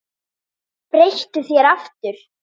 Breyttu þér aftur!